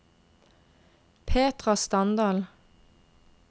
Petra Standal